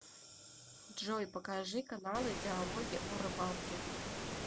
джой покажи каналы диалоги о рыбалке